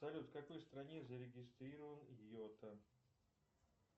салют в какой стране зарегистрирован йота